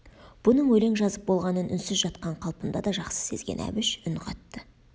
бұның өлең жазып болғанын үнсіз жатқан қалпында да жақсы сезген әбіш үн қатты